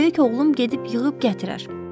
Böyük oğlum gedib yığıb gətirər.